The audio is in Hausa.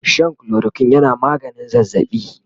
Shan chloroquine yana maganin zazzabi